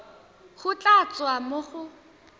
go tla tswa mo go